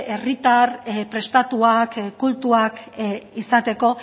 herritar prestatuak kultuak izateko